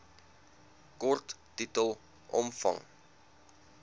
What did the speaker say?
kort titel omvang